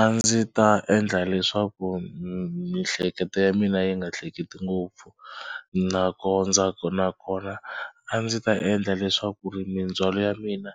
A ndzi ta endla leswaku miehleketo ya mina yi nga hleketi ngopfu nakona a ndzi ta endla leswaku ri mindzhwalo ya mina